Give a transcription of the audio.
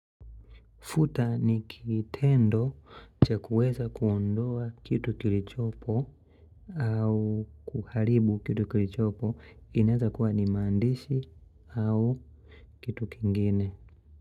Futa ni kitendo cha kuweza kuondoa kitu kilichopo au kuharibu kitu kilichopo inawezakuwa ni maandishi au kitu kingine.